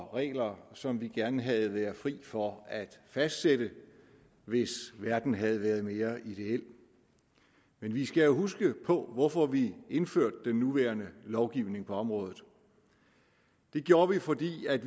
regler som vi gerne havde været fri for at fastsætte hvis verden havde været mere ideel men vi skal huske hvorfor vi indførte den nuværende lovgivning på området det gjorde vi fordi